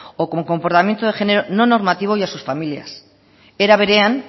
o con comportamiento de género no normativo y a sus familias era berean